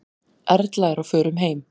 Erla er á förum heim.